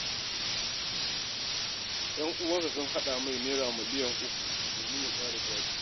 Yan uwansa sun haɗa masa Naira miliyan uku domin ya ƙara jari.